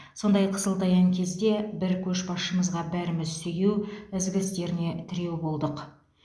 сондай қысылтаяң кезде бір көшбасшымызға бәріміз сүйеу ізгі істеріне тіреу болдық